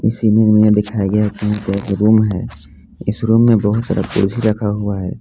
Room है इस room में बहुत सारे कुर्सी रखा हुआ है।